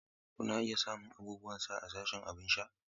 Kuna iya samun abubuwan sha a sashin abin sha.